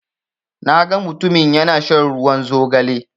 Na ga mutumin ya na shan ruwan zogale